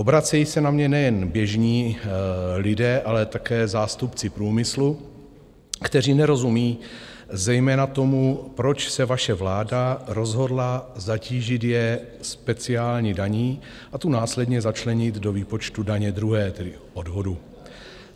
Obracejí se na mě nejen běžní lidé, ale také zástupci průmyslu, kteří nerozumí zejména tomu, proč se vaše vláda rozhodla zatížit je speciální daní a tu následně začlenit do výpočtu daně druhé, tedy odvodu.